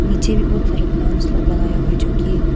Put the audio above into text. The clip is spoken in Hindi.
नीचे भी बहुत सारा प्लांट्स लोग लगाया गया जोकि--